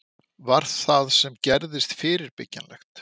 Var það sem gerðist fyrirbyggjanlegt?